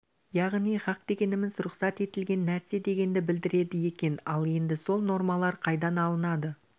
яғни хақ дегеніміз рұқсат етілген нәрсе дегенді білдіреді екен ал енді сол нормалар қайдан алынады